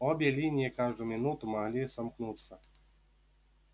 обе линии каждую минуту могли сомкнуться